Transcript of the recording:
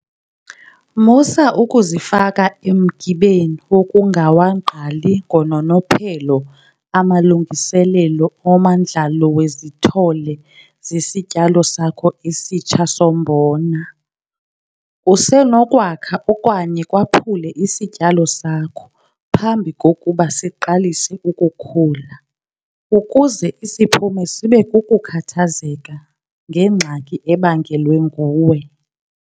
Musa ukuzifaka emgibeni wokungawagqali ngononophelo amalungiselelo omandlalo wezithole zesityalo sakho esitsha sombona. Kusenokwakha okanye kwaphule isityalo sakho phambi kokuba siqalise ukukhula, ukuze isiphumo sibe kukukhathazeka ngengxaki ebangelwe nguwe!